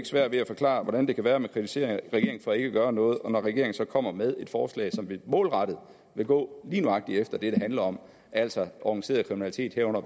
svært ved at forklare hvordan det kan være at man kritiserer regeringen for ikke at gøre noget og når regeringen så kommer med et forslag som målrettet vil gå lige nøjagtig efter det det handler om altså organiseret kriminalitet herunder